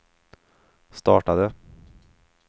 startade